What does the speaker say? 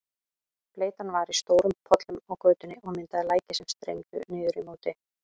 Bleytan var í stórum pollum á götunni og myndaði læki sem streymdu niður í móti.